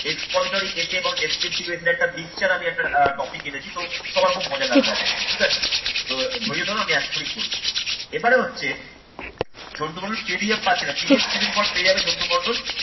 এবং expository essay এবং descriptive essay একটা mixture একটা topic এনেছি। তো সবার খুব মজা লাগবে আশা করি ঠিক আছে। তো ধরিয়ে ধরো আমি এখুনি করবো। এবারে হচ্ছে ঝন্টু বললো PDF পাচ্ছি না PDF কিছুদিন পর পেয়ে যাবে ঝন্টু মন্ডল।